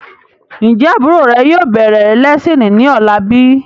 Ń jẹ́ àbúrò rè yìí ó bẹ̀rẹ̀ lẹ́siini ni ọ̀la bíi?